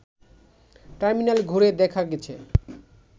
terminal ঘুরে দেখা গেছে